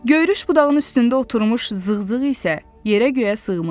Göyrüş budağının üstündə oturmuş zığzığ isə yerə-göyə sığmırdı.